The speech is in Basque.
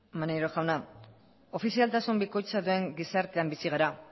maneiro jauna ofizialtasun bikoitza duen gizartean bizi gara